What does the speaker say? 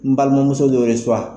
N balimuso dun